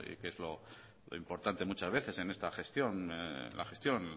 que es lo importante muchas veces en esta gestión la gestión